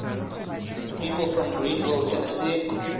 people from greeneville tennessee